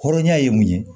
Hɔrɔnya ye mun ye